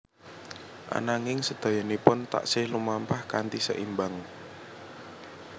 Ananging sedayanipun taksih lumampah kanthi seimbang